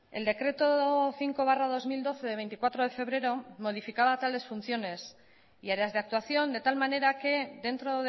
el decreto cinco barra dos mil doce de veinticuatro de febrero modificaba tales funciones y áreas de actuación de tal manera que dentro